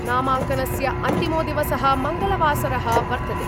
नामांकनस्य अन्तिमो दिवस: मंगलवासरः वर्तते।